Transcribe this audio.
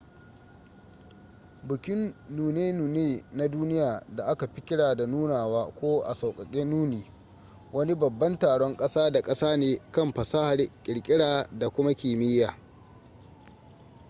bukin nune-nune na duniya da aka fi kira da nunawa ko a sauƙaƙe nuni wani babban taron ƙasa da ƙasa ne kan fasahar ƙirƙira da kuma kimiyya